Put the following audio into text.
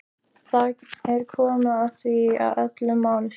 Það er komið að því sem öllu máli skiptir.